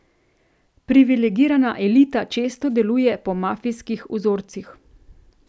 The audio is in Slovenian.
Privilegirana elita često deluje po mafijskih vzorcih.